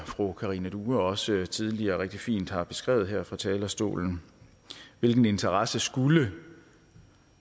fru karina due også tidligere rigtig fint har beskrevet det her fra talerstolen hvilken interesse skulle